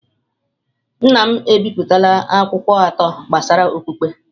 Nna m ebipụtala akwụkwọ atọ gbasara okpukpe.